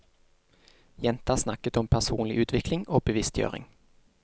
Jenta snakket om personlig utvikling og bevisstgjøring.